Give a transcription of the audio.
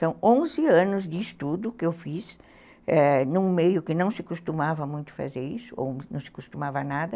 São onze anos de estudo que eu fiz num meio que não se costumava muito fazer isso, ou não se costumava nada.